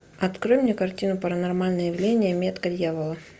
открой мне картину паранормальное явление метка дьявола